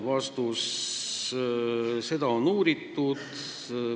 Vastus: seda on uuritud.